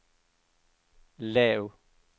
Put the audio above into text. lav